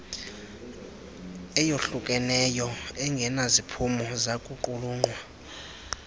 eyohlukeneyo engenaziphumo zakuqulunqwa